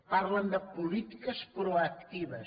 parlen de polítiques proactives